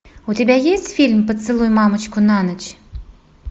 у тебя есть фильм поцелуй мамочку на ночь